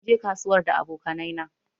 Mun je kasuwar da aboƙanai na